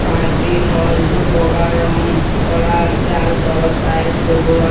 party hall টো বগা ৰং কৰা আছে আৰু তলত টাইলছ লগোৱা--